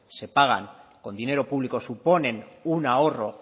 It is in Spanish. se pagan con dinero público suponen un ahorro